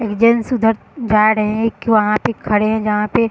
एक जेंट्स उधर जा रहे हैं | एक वहाँ पे खड़े हैजहाँ पे --